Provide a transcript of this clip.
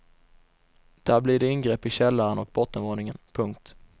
Där blir det ingrepp i källaren och bottenvåningen. punkt